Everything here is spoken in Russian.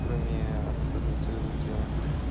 кроме анатомии своего тела